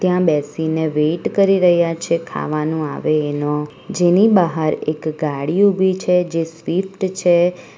ત્યાં બેસીને વેટ કરી રહ્યા છે ખાવાનું આવે એનો જેની બહાર એક ગાડી ઊભી છે જે સ્વીફ્ટ છે.